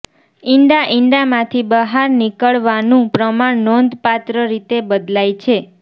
ઇંડા ઇંડામાંથી બહાર નીકળવાનું પ્રમાણ નોંધપાત્ર રીતે બદલાય છે